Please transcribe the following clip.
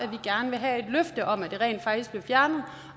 vi gerne vil have et løfte om at det rent faktisk bliver fjernet og